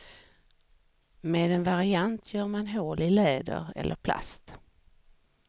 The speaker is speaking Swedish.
Med en variant gör man hål i läder eller plast.